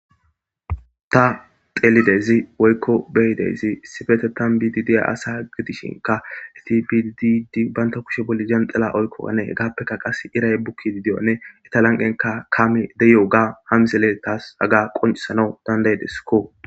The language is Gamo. ta telidezi woykko beyidezi sifete tan bididi asa gidishinka itibidididi baynta kushe bolli janxala oykko anee gaappeka qas iray bukki di diyonne eta lanqenka kaame deyo7uga hamisele taas aga qoncisano dandayideskko